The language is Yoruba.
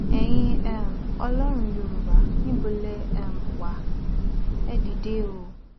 ẹyin um ọlọrun yorùbá níbo lè um wá ẹ dìde o